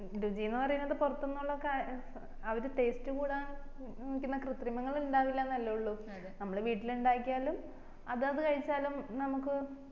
രുചിന്ന് പറയുന്നത് പൊറത്തൂന്നുള്ള ക ഏർ അവര് taste കൂടാൻ ആകുന്ന കൃത്രിമങ്ങള് ഇണ്ടാവില്ലന്നല്ലേ ഉള്ളു നമ്മള് വീട്ടില് ഇണ്ടാക്കിയാലും അതാത് കഴിച്ചാലും നമ്മക്ക്